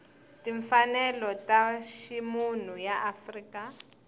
timfanelo ta ximunhu ya afrika